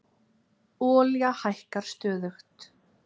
Olía hækkar stöðugt